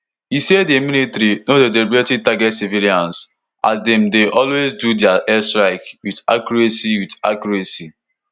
e say di military no dey deliberately target civilians as dem dey always do dia airstrikes wit accuracy wit accuracy